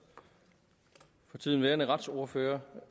for tiden værende retsordfører